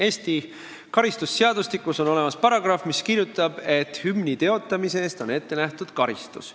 Eesti karistusseadustikus on olemas paragrahv, kus on kirjutatud, et hümni teotamise eest on ette nähtud karistus.